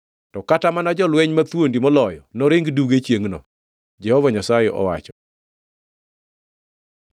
To kata mana jolweny mathuondi moloyo noring duge chiengʼno,” Jehova Nyasaye owacho.